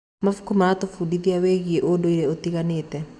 Mabuku maratũbundithia wĩgiĩ ũndũire ũtiganĩte.